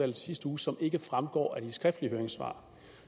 i sidste uge som ikke også fremgår af de skriftlige høringssvar